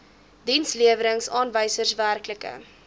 dienslewerings aanwysers werklike